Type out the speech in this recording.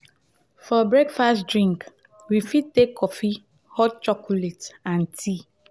for breakfast drink we fit take coffee hot chocolate and tea